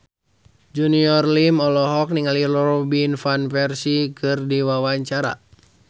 Junior Liem olohok ningali Robin Van Persie keur diwawancara